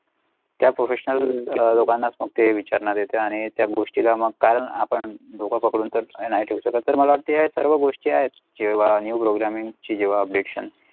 त्या Professional अ लोकांना मोठे विचारणार त्या आणि त्या गोष्टीलामग कारण आपण पकडून तर नाही ठेऊ शकततर मला वाटेत हे सर्व गोष्टी आहेत जेव्हा New programming ची जेव्हा Updation.